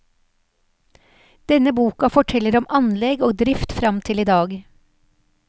Denne boka forteller om anlegg og drift fram til i dag.